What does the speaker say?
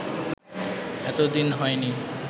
এতদিন হয়নি